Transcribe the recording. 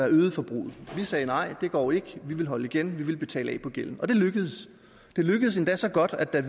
øge forbruget vi sagde nej det går ikke vi ville holde igen vi ville betale af på gælden og det lykkedes det lykkedes endda så godt at da